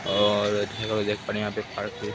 और यहां पे देख पा रहे हैं यहाँ पे एक पार्क है।